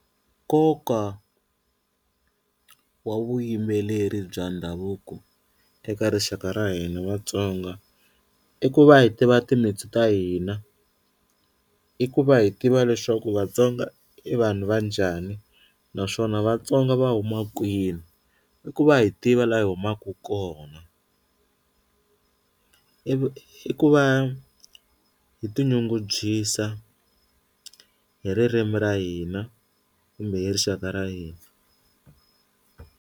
Nkoka wa vuyimbeleri bya ndhavuko eka rixaka ra hina Vatsonga i ku va hi tiva timitsu ta hina i ku va hi tiva leswaku Vatsonga i vanhu va njhani naswona Vatsonga va huma kwini, i ku va hi tiva la hi humaka kona i ku va hi tinyungubyisa hi ririmi ra hina kumbe hi rixaka ra hina.